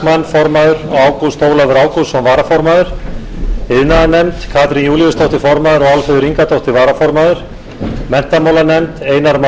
formaður þuríður backman varaformaður ágúst ólafur ágústsson iðnaðarnefnd formaður katrín júlíusdóttir varaformaður álfheiður ingadóttir menntamálanefnd formaður einar már